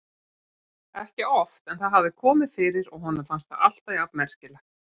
Ekki oft en það hafði komið fyrir og honum fannst það alltaf jafn merkilegt.